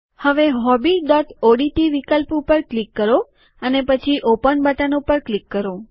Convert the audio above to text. હવે હોબીઓડીટી વિકલ્પ ઉપર ક્લિક કરો અને પછી ઓપન બટન ઉપર ક્લિક કરો